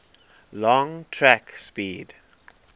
long track speed